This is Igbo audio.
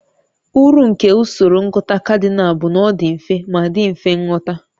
Uru nke usoro ịgụta kadinal bụ na ọ dị mfe ma dị mfe nghọta